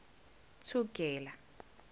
thugela